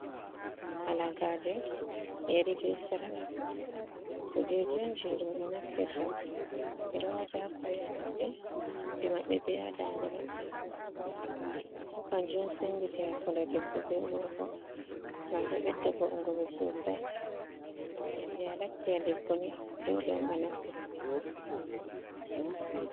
Halagaje yari be sarqa. Kujeji on be naftirta bedo wata ha koli mabbe, ha noppi mabbe, be ha ɗande mabbe. Gam bo kanjo on senditi hakkunde ɗebbo be gorgo. Gam ɗo beɗɗa va’ugo be sosai. Gam yande a latti a ɗebboni ɗole on a naftira be irin kujeji ji ɗo.